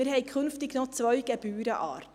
Wir haben künftig noch zwei Gebührenarten: